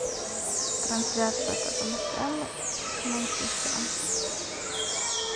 трансляция тоттенхэма с манчестером